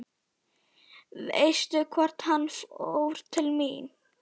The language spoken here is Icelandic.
Veistu hvort hann fór til mín?